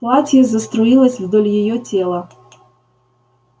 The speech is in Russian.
платье заструилось вдоль её тела